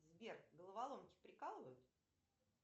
сбер головоломки прикалывают